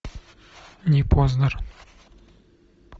не познер